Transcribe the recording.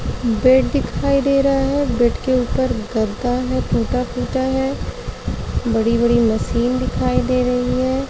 Bed दिखाई दे रहा हैं। बेड के ऊपर गद्दा है टुटा फुटा है। बड़ी बड़ी मशीन दिखाई दे रही है।